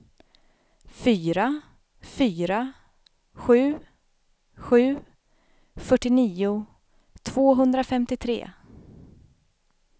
fyra fyra sju sju fyrtionio tvåhundrafemtiotre